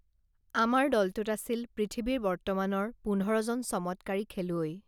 আমাৰ দলটোত আছিল পৃথিৱীৰ বৰ্তমানৰ পোন্ধৰজন চমৎকাৰী খেলুৱৈ